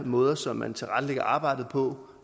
måder som man tilrettelægger arbejdet på